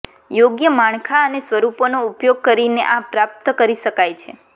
યોગ્ય માળખા અને સ્વરૂપોનો ઉપયોગ કરીને આ પ્રાપ્ત કરી શકાય છે